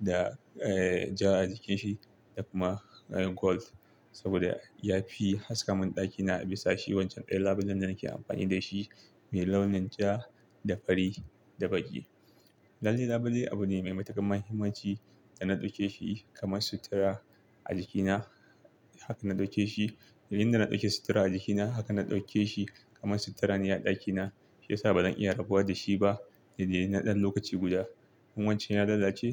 da, eh, ja a jikin shi da kuma kalan gold saboda ya fi haskaka mun ɗaki na bisa shi wancan ɗayan labulen da nake amfani da shi mai launin ja da fari da baƙi. Lalle labule abu ne mai matuƙar muhimmanci da na ɗauke shi kamar sutura a jiki na. Haka na ɗauke shi. Indai na ɗauki suttura a jiki na, haka na ɗauke shi kamar suttura ne a ɗaki na. Shi ya sa ba zan iya rabuwa da shi ba da dai dai da na ɗan lokaci guda. In wancan ya lalace.